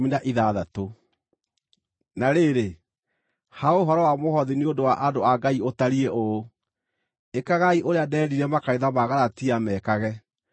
Na rĩrĩ, ha ũhoro wa mũhothi nĩ ũndũ wa andũ a Ngai ũtariĩ ũũ: Ĩkagai ũrĩa ndeerire makanitha ma Galatia mekage.